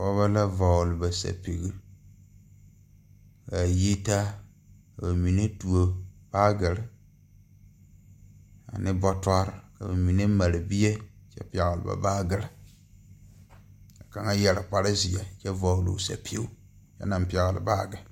Pɔɔbɔ la vɔgle ba sɛpigre kaa yi taa ba mine tuo baagyirre ane bɔtɔrre ka ba mine mare bie kyɛ pɛgle ba baagyirre kaŋa yɛre kparezeɛ kyɛ vɔgle sɛpige anaŋ pɛgle baagyi.